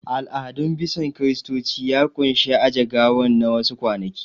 Al'adun bison Kiristoci ya ƙunshi aje gawan na wa su kwanaki